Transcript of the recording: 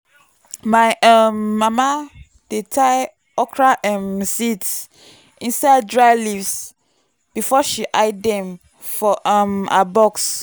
my um mama dey tie okra um seeds inside dry leaves before she hide them for um her box.